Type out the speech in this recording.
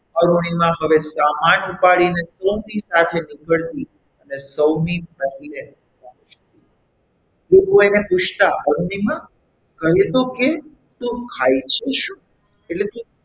અરુણિમા હવે સામાન ઉપાડીને સૌની સાથે નીકળતી અને સૌની પહેલે પહોંચતી લોકો એને પૂછતા અરુણિમા કહી તો કે તું ખાય છે શું? એટલે કે,